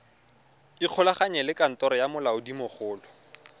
ikgolaganye le kantoro ya molaodimogolo